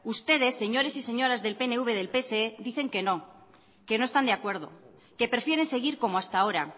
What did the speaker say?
ustedes señores y señoras del pnv y del pse dicen que no que no están de acuerdo que prefieren seguir como hasta ahora